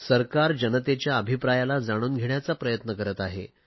सरकार जनतेच्या अभिप्रायाला जाणून घेण्याचा प्रयत्न करत आहे